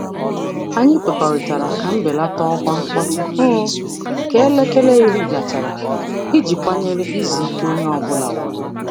Anyị kwekọrịtara ka mbelata ọkwa mkpọtụ um ka elekere 10 gachara iji kwanyere izu ike onye ọ bụla ùgwù.